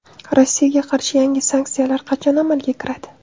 Rossiyaga qarshi yangi sanksiyalar qachon amalga kiradi?